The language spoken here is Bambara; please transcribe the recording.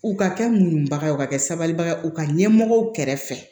U ka kɛ muɲubaga ye u ka kɛ sabalibaga ye u ka ɲɛmɔgɔ kɛrɛfɛ